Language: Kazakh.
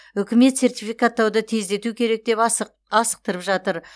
үкімет сертификаттауды тездету керек деп асықтырып жатыр